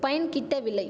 பயன் கிட்டவில்லை